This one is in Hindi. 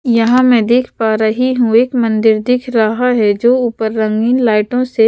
यहाँ मैं देख पा रही हूं एक मंदिर दिख रहा है जो ऊपर रंगीन लाइटों से--